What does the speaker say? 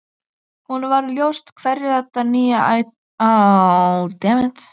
Honum varð ljóst hverju þetta nýja atlæti sætti.